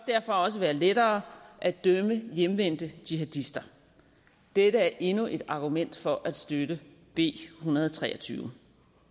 derfor også være lettere at dømme hjemvendte jihadister dette er endnu et argument for at støtte b en hundrede og tre og tyve